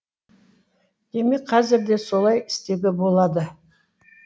демек қазір де солай істеуге болады